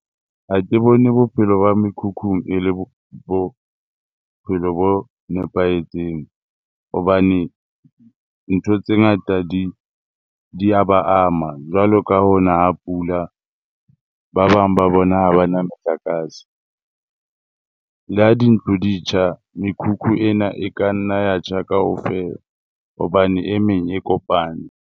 Ha ke bone bophelo ba mekhukhung e le bophelo bo nepahetseng hobane ntho tse ngata di di ya ba ama jwalo ka ho na ha pula. Ba bang ba bona ha ba na motlakase le ha dintlo di tjha, mekhukhu ena e ka nna ya tjha kaofela hobane e meng e kopane.